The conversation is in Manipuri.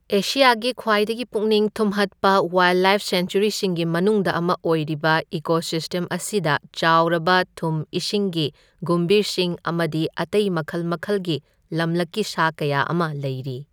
ꯑꯦꯁꯤꯌꯥꯒꯤ ꯈ꯭ꯋꯥꯏꯗꯒꯤ ꯄꯨꯛꯅꯤꯡ ꯊꯨꯝꯍꯠꯄ ꯋꯥꯏꯜꯂꯥꯏꯐ ꯁꯦꯡꯆꯨꯋꯦꯔꯤꯁꯤꯡꯒꯤ ꯃꯅꯨꯡꯗ ꯑꯃ ꯑꯣꯏꯔꯤꯕ ꯏꯀꯣꯁꯤꯁꯇꯦꯝ ꯑꯁꯤꯗ ꯆꯥꯎꯔꯕ ꯊꯨꯝ ꯏꯁꯤꯡꯒꯤ ꯒꯨꯝꯚꯤꯔꯁꯤꯡ ꯑꯃꯗꯤ ꯑꯇꯩ ꯃꯈꯜ ꯃꯈꯜꯒꯤ ꯂꯝꯂꯛꯀꯤ ꯁꯥ ꯀꯌꯥ ꯑꯃ ꯂꯩꯔꯤ꯫